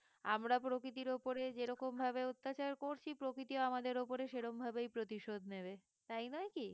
আমরা প্রকৃতির ওপরে যে রকম ভাবে অত্যাচার করছি প্রকৃতিও আমাদের ওপরে সেরমভাবেই প্রতিশোধ নেবে, তাই নয় কি? সেটার অপেক্ষাতেই আমাদেরকে থাকতে হবে